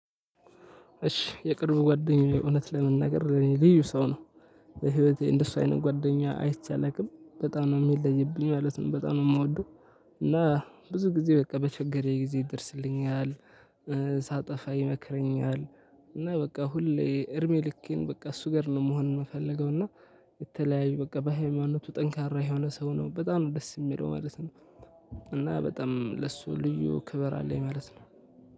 እሺ የቅርብ ጓደኛዬ እውነት ለመናገር ልዩ ሰው ነው። በህይወቴ እንደሱ አይነት ጓደኛ አይቼ አላውቅም በጣም ነው የሚለይብኝ ማለት ነው። በጣም ነው የምወደው እና ብዙ ጊዜ በቃ በቸገረኝ ጊዜ ይደርስልኛል። ሳጠፋ ይመክረኛል። እና በቃ ሁሌ እድሜልኬን በቃ እሱ ጋር ነው መሆን የምፈልገው። እና የተለያዩ በቃ በሀይማኖቱ ጠንካራ የሆነ ሰው ነው በጣም ነው ደስ የሚለው ማለት ነው። እና በጣም ለሱ ልዩ ክብር አለኝ ማለት ነው።